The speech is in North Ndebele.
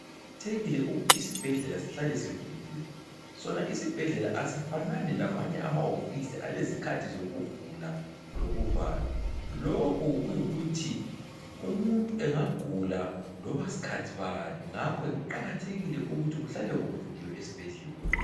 Kuqakathekile ukuthi isibhedlela sihlale sivuliwe , Sona isibhedlela asifanani lamanye amaphilisi alezikhathi zokuvula lokuvala , lokhu kuyikuthi umuntu engagula loba skhathi bani ngakho ke kuqakathekile ukuthi kuhlale kuvuliwe esbhedlela